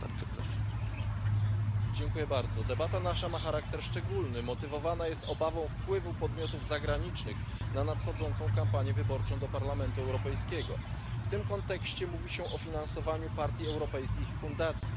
Nasza debata ma charakter szczególny motywowana jest obawą wpływu podmiotów zagranicznych na nadchodzącą kampanię wyborczą do Parlamentu Europejskiego. W tym kontekście mówi się o finansowaniu europejskich partii i fundacji.